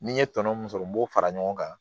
Ni n ye tɔnɔ mun sɔrɔ n b'o fara ɲɔgɔn kan